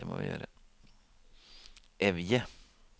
Evje